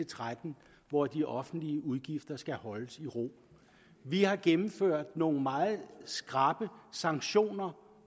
tretten hvor de offentlige udgifter skal holdes i ro vi har gennemført nogle meget skrappe sanktioner